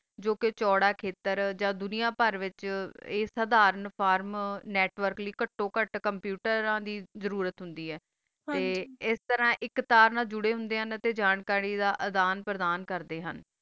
ਜੋ ਕਾ ਚੋਰ ਆ ਖਾਟਰ ਆ ਦੁਨਿਯਾ ਬਾਰ ਦਾ ਵਿਤਚ ਸਰਮ ਫਾਰਮ network ਕਾਟੋ ਕਤ computer ਦੀ ਜ਼ਰੋਰਤ ਹੋਂਦੀ ਆ ਤਾ ਆਸ ਤਾਰਾ ਏਕ ਤਾਰ ਨਾਲ ਜੋਰ ਹੋਂਦਾ ਆ ਤਾ ਜਾਨ ਕਰੀ ਦਾ ਆਂ ਪ੍ਰਦਾਨ ਕਰਦਾ ਆ